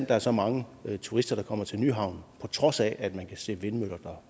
der er så mange turister der kommer til nyhavn på trods af at man kan se vindmøller